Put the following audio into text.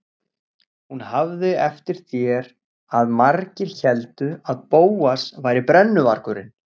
Hún hafði eftir þér að margir héldu að Bóas væri brennuvargurinn.